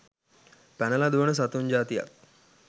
පැනල දුවන සතුන් ජාතියක්.